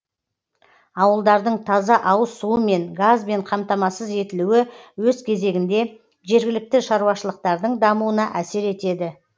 ауылдардың таза ауыз суымен газбен қамтамасыз етілуі өз кезегінде жергілікті шаруашылықтардың дамуына әсер етеді